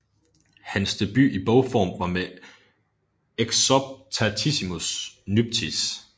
Hans debut i bogform var med Exoptatissimis nuptiis